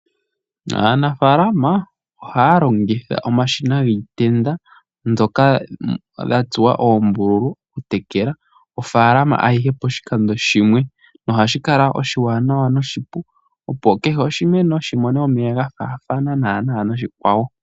Aanafalama ohaya longitha omashina giitenda ndjoka ya tsuwa oombululu oku tekela ofalama ayihe poshikando shimwe, nohashi kala oshiwanawa noshipu opo kehe oshimeno shimone omeya ga fathana nana noshikwawo.